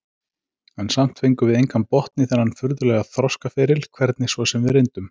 En samt fengum við engan botn í þennan furðulega þroskaferil, hvernig svo sem við reyndum.